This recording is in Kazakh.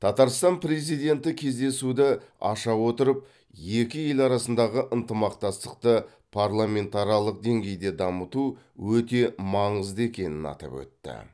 татарстан президенті кездесуді аша отырып екі ел арасындағы ынтымақтастықты парламентаралық деңгейде дамыту өте маңызды екенін атап өтті